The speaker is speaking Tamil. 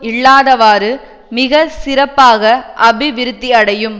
இல்லாதவாறு மிக சிறப்பாக அபிவிருத்தியடையும்